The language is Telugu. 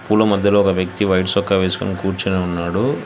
పూల మధ్యలో ఒక వ్యక్తి వైట్ సొక్కా వేసుకొని కుర్చొని ఉన్నాడు.